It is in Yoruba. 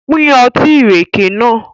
Pín Ọtí ìrèké nàá.